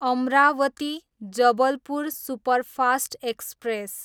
Amravati, Jabalpur superfast express